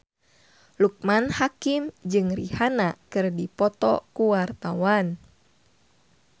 Loekman Hakim jeung Rihanna keur dipoto ku wartawan